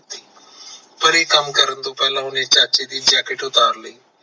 ਪਰ ਇਹ ਕਮ ਕਰਨ ਤੋਂ ਪਹਿਲਾ ਓਹਨੇ ਚਾਚੇ ਦੀ jacket ਉਤਾਰ ਲਈ